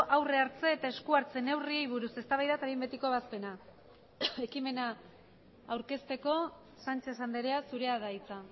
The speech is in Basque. aurre hartze eta esku hartze neurriei buruz eztabaida eta behin betiko ebazpena ekimena aurkezteko sánchez andrea zurea da hitza